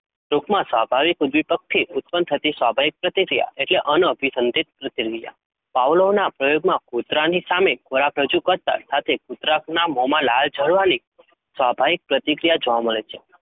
ટૂંકમાં સ્વાભાવિક ઉદ્દીપકથી ઉત્પન્ન થતી સ્વાભાવિક પ્રતિક્રિયા એટલે અન અભિસંધિત પ્રતિક્રિયા. Pavlov ના પ્રયોગમાં કૂતરાની સામે ખોરાક રજુ કરતા સાથે કુતરાના મોમાંથી લાળ જરવાની સ્વાભાવિક પ્રતિક્રિયા જોવા મળે છે.